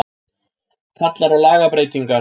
Kallar á lagabreytingar